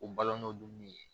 O balɔn n'o dumuni ye